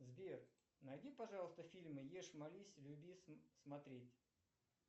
сбер найди пожалуйста фильмы ешь молись люби смотреть